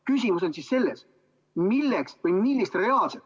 Küsimus on siis selles, millist reaalset, mitte formaalset ...